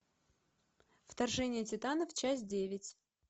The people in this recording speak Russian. вторжение титанов часть девять